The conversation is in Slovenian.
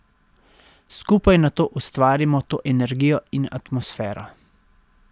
Skupaj nato ustvarimo to energijo in atmosfero.